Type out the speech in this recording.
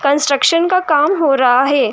Construction का काम हो रहा है।